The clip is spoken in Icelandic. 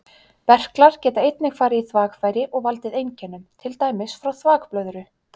Berklar geta einnig farið í þvagfæri og valdið einkennum, til dæmis frá þvagblöðru.